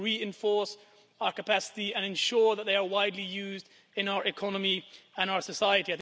We need to reinforce our capacity and ensure that it is widely used in our economy and our society.